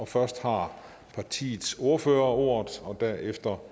først har partiets ordfører ordet derefter